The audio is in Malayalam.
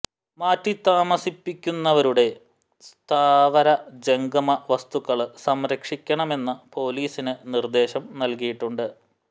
മാറ്റി താമസിപ്പിക്കുന്നവരുടെ സ്ഥാവര ജംഗമ വസ്തുക്കള് സംരക്ഷിക്കണമെന്ന് പോലീസിന് നിര്ദേശം നല്കിയിട്ടുണ്ട്